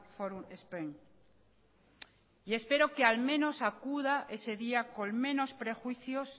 forum spain espero que al menos acuda ese día con menos prejuicios